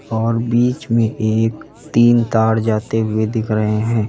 और बीच में एक तीन ताड़ जाते हुए दिख रहे हैं।